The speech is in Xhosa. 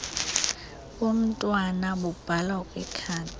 bomntwana bubhalwa kwikhadi